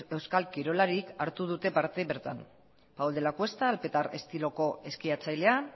euskal kirolarik hartu dute parte bertan paul de la cuesta alpetar estiloko eskiatzailea